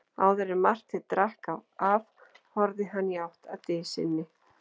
Áður en Marteinn drakk af horfði hann í átt að dysinni.